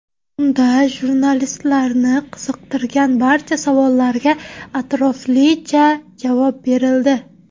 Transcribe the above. Unda jurnalistlarni qiziqtirgan barcha savollarga atroflicha javob berildi.